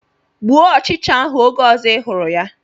Gbuo ọchịcha ahụ oge ọzọ ị hụrụ ya!